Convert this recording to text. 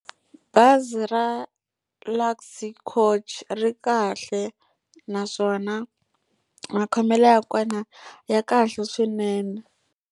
Bazi ra Luxury coach ri kahle naswona makhomelo ya kona ya kahle swinene.